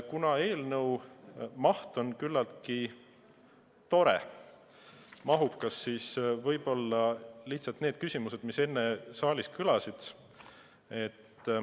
Kuna eelnõu on küllaltki mahukas, siis võib-olla lihtsalt nendele küsimustele, mis enne saalist kõlasid.